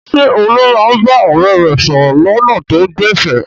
Ṣé Olú máa ń bá ọ̀rẹ́ rẹ̀ sọ̀rọ̀ lọ́nà tó gbẹ̀fẹ̀?